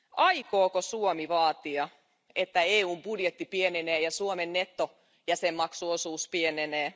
Aikooko Suomi vaatia, että EU budjetti pienenee ja Suomen nettojäsenmaksuosuus pienenee?